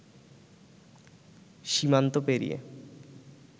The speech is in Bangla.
সীমান্ত পেরিয়ে